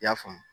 I y'a faamu